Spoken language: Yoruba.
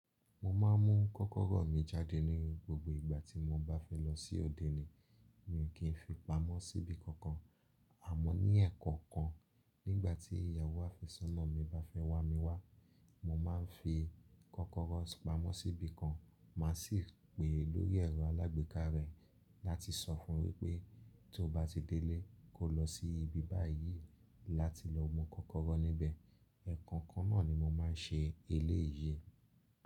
Mo ma ń mu kọkọrọ mi jáde ní gbogbo ìgbà tí mo bá fẹ́ lọ sí ọ̀dèní. Mi ò kì í fi pamọ́ síbi kankan. Àmọ́ ní ẹ̀kan kan, nígbà tí ìyàwó afẹ̀sọ́nà mi bá fẹ́ wá mi wá, mo máa ń fi kókóró pamọ́ síbi kan, màá sì pè lórí ẹ̀rọ alágbèéká rẹ̀ láti sọ fún un pé tó bá ti délé, kó lọ sí ibi bá yìí láti lọ mu kókóró níbẹ̀. Ẹ̀ẹ̀kan kan náà ni mo máa ń ṣe èléyii.